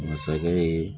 Masakɛ ye